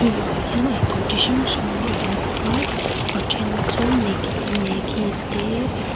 eitûr chi hrang hrang a lo lang a a ṭhen chu maggie maggie te--